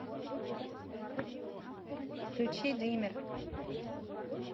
включи дример